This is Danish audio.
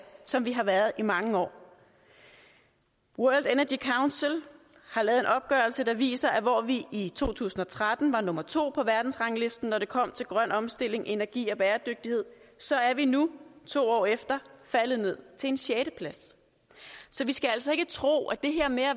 som vi har været i mange år world energy council har lavet en opgørelse der viser at hvor vi i to tusind og tretten var nummer to på verdensranglisten når det kommer til grøn omstilling energi og bæredygtighed så er vi nu to år efter faldet ned til en sjetteplads så vi skal altså ikke tro at det her med at